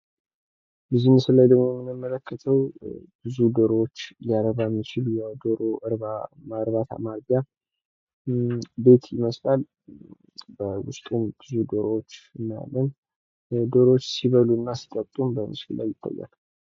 በዚህ ምስል ላይ ደግሞ የምንመለከተው ብዙ ዶሮዎች ሊያረባ የሚችል የዶሮ እርባታ ማርቢያ ቤት ይመስላል በዉስጡም ብዙ ዶሮዎች እናያለን። ዶሮዎችህ ሲበሉ እና ሲጠጡም በምስሉ ላይ ይታያል።